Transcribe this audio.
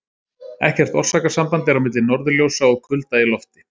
ekkert orsakasamband er á milli norðurljósa og kulda í lofti